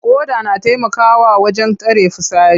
Ƙoda na taimakawa wajen tara fitsari.